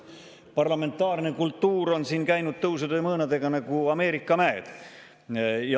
Parlamentaarne kultuur on siin käinud tõusude ja mõõnadega nagu Ameerika mäed.